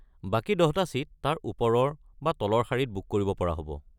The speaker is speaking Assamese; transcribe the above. বাকী দহটা ছিট তাৰ ওপৰৰ বা তলৰ শাৰীত বুক কৰিব পৰা হ’ব।